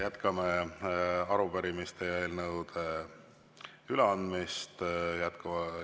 Jätkame arupärimiste ja eelnõude üleandmist.